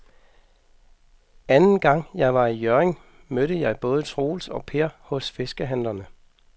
Anden gang jeg var i Hjørring, mødte jeg både Troels og Per hos fiskehandlerne.